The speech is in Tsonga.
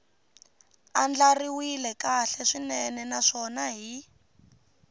andlariwile kahle swinene naswona hi